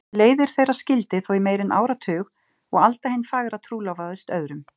Leiðir þeirra skildi þó í meira en áratug og Alda hin fagra trúlofaðist öðrum.